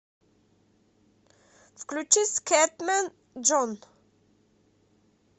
включи скэтмэн джон